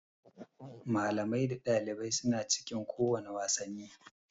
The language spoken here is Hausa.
Malamai da ɗalibai suna cikin kowane wasanni